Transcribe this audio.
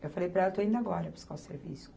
Eu falei para ela, estou indo agora buscar o serviço.